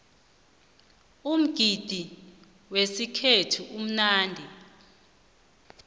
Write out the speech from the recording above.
umgidi wesikhethu umnandi